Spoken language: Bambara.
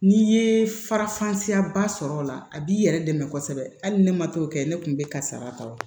N'i ye farafan siya ba sɔrɔ a la a b'i yɛrɛ dɛmɛ kosɛbɛ hali ni ne ma to kɛ ne kun bɛ karisa la